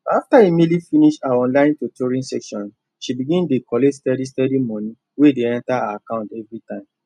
after emily finish her online tutoring sessions she begin dey collect steady steady money wey dey enter her account every time